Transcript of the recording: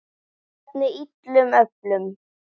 Hvernig illum öflum?